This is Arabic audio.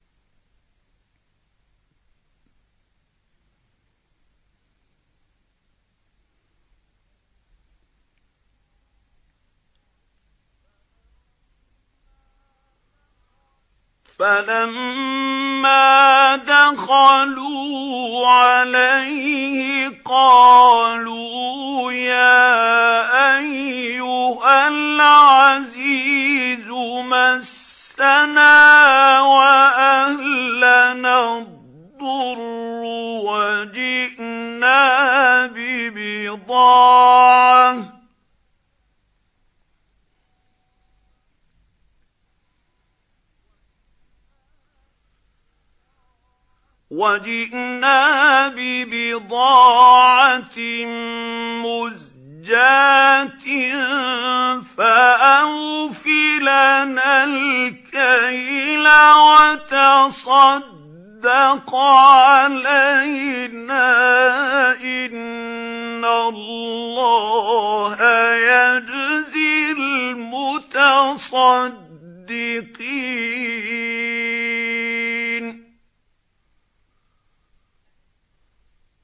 فَلَمَّا دَخَلُوا عَلَيْهِ قَالُوا يَا أَيُّهَا الْعَزِيزُ مَسَّنَا وَأَهْلَنَا الضُّرُّ وَجِئْنَا بِبِضَاعَةٍ مُّزْجَاةٍ فَأَوْفِ لَنَا الْكَيْلَ وَتَصَدَّقْ عَلَيْنَا ۖ إِنَّ اللَّهَ يَجْزِي الْمُتَصَدِّقِينَ